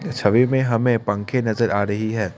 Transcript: इस छवि में हमें पंखे नजर आ रही है।